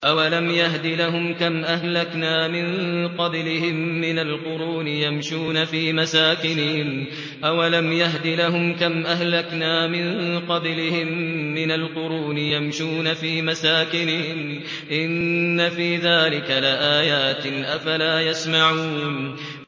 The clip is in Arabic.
أَوَلَمْ يَهْدِ لَهُمْ كَمْ أَهْلَكْنَا مِن قَبْلِهِم مِّنَ الْقُرُونِ يَمْشُونَ فِي مَسَاكِنِهِمْ ۚ إِنَّ فِي ذَٰلِكَ لَآيَاتٍ ۖ أَفَلَا يَسْمَعُونَ